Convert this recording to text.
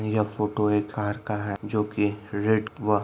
यह फोटो एक कार का है जो की रेड व--